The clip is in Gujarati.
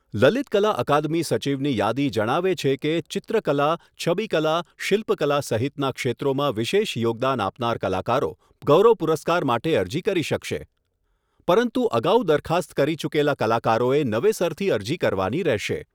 લલિત કલા અકાદમી સચિવની યાદી જણાવે છે કે ચિત્રકલા, છબિકલા, શિલ્પકલા સહિતના ક્ષેત્રોમાં વિશેષ યોગદાન આપનાર કલાકારો ગૌરવ પુરસ્કાર માટે અરજી કરી શકશે, પરંતુ અગાઉ દરખાસ્ત કરી ચૂકેલા કલાકારોએ નવેસરથી અરજી કરવાની રહેશે.